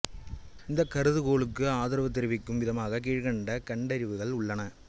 இந்தக் கருதுகோளுக்கு ஆதரவு தெரிவிக்கும் விதமாக கீழ்கண்ட கண்டறிவுகள் உள்ளன